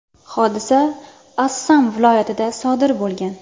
Hodisa Assam viloyatida sodir bo‘lgan.